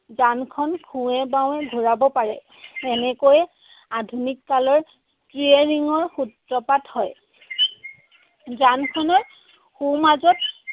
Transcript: যানখন সোঁৱে বাৱে ঘুৰাব পাৰে। এনেকৈয়ে আধুনিক কালৰ steering ৰ সূত্ৰপাত হয়। যানখনৰ সোঁমাজত